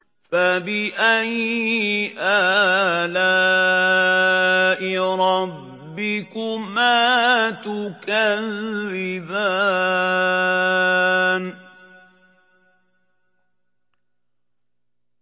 فَبِأَيِّ آلَاءِ رَبِّكُمَا تُكَذِّبَانِ